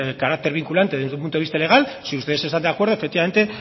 carácter vinculante desde el punto de vista legal si ustedes están de acuerdo efectivamente